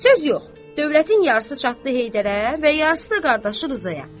Söz yox, dövlətin yarısı çatdı Heydərə və yarısı da qardaşı Rızaya.